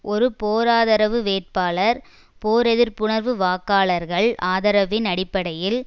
ஒரு போராதரவு வேட்பாளர் போரெதிர்ப்புணர்வு வாக்காளர்கள் ஆதரவின் அடிப்படையில்